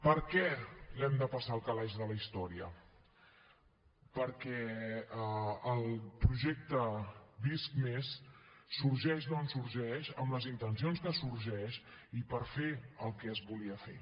per què l’hem de passar al calaix de la història perquè el projecte visc+ sorgeix d’on sorgeix amb les intencions que sorgeix i per fer el que es volia fer